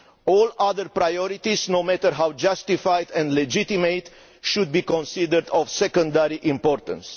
All other priorities, no matter how justified and legitimate, should be considered of secondary importance.